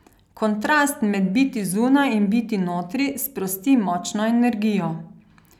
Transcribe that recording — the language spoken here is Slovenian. Kontrast med biti zunaj in biti notri sprosti močno energijo.